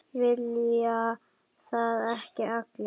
Vilja það ekki allir?